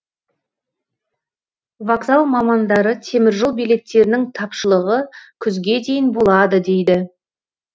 вокзал мамандары теміржол билеттерінің тапшылығы күзге дейін болады дейді